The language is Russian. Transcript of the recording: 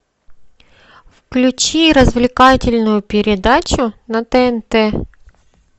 включи развлекательную передачу на тнт